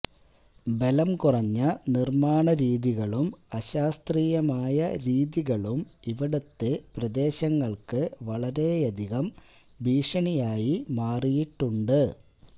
ബലം കുറഞ്ഞ നിർമ്മാണ രീതികളും അശാസ്ത്രീയമായ രീതികളും ഇവിടുത്തെ പ്രദേശങ്ങൾക്ക് വളരെയധികം ഭീഷണിയായി മാറിയിട്ടുണ്ട്